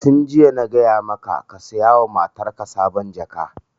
Tun jiya na gaya maka ka saya wa matarka sabon jaka!